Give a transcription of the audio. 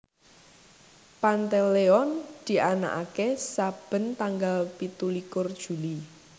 Pantaleone dianakaké saben tanggal pitu likur Juli